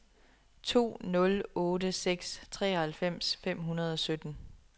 to nul otte seks treoghalvfems fem hundrede og sytten